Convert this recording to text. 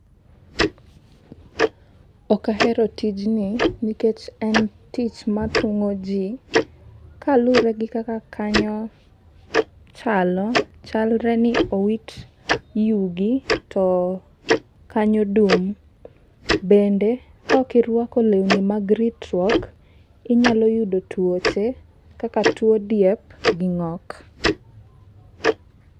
Ok ahero tijni nikech en tich mathung'o ji. ka luwre gi kaka kanyo chalo chalre ni owit yugi to kanyo dung'. Bende kokirwako lewni mag ritruok, inyalo yudo tuoche kaka tuo diep gi ng'ok.